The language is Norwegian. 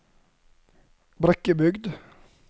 Brekkebygd